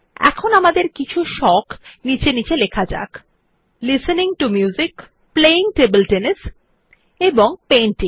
এখন আমাদের কিছু সোখ নীচে নীচে লেখা যাক listening to music playing table tennis এবং পেইন্টিং